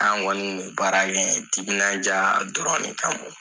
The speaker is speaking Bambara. An kɔni kun bɛ baara kɛ ye timinandiya dɔrɔn de kamɔ